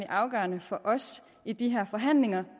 afgørende for os i de her forhandlinger